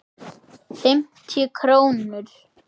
Fimmtíu krónur?